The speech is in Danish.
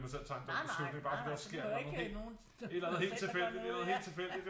Nej nej du behøver ikke nogen der selv gør noget